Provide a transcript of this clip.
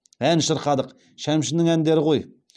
ән шырқадық шәмшінің әндері ғой